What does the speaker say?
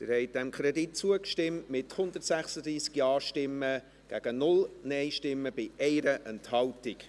Sie haben diesem Kredit zugestimmt, mit 136 Ja- gegen 0 Nein-Stimmen bei 1 Enthaltung.